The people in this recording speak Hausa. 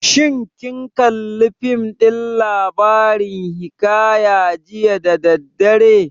Shin kin kalli fim ɗin labarin hiƙaya jiya da daddare?